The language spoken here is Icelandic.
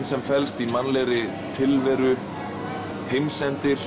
sem felst í mannlegri tilveru heimsendi